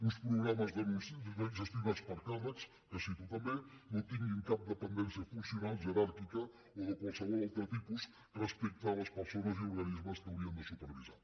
uns programes gestionats per càrrecs que cito també no tinguin cap dependència funcional jeràrquica o de qualsevol altre tipus respecte a les persones i organismes que haurien de supervisar